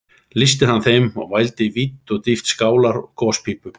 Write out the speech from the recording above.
Lýsti hann þeim og mældi vídd og dýpt skálar og gospípu bæði